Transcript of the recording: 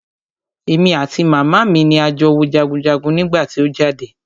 Èmi àti màmá mi ni a jọ wo jagunjagun nígbà tí o jáde.